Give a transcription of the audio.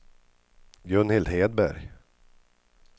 Gunhild Hedberg